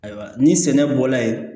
Ayiwa ni sɛnɛ bɔla yen